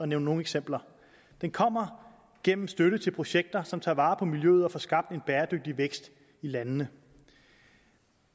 nævne nogle eksempler den kommer gennem støtte til projekter som tager vare på miljøet og får skabt en bæredygtig vækst i landene